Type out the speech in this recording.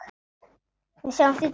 Við sjáumst í dag.